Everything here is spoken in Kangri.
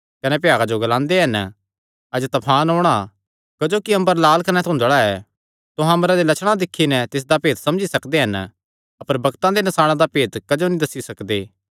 कने भ्यागा जो ग्लांदे हन अज्ज तफान औणां क्जोकि अम्बर लाल कने धुदंल़ा ऐ तुहां अम्बरे दे लछणा दिक्खी नैं तिसदा भेत दस्सी सकदे हन अपर बग्तां दे नसाणां दा भेत क्जो नीं दस्सी सकदे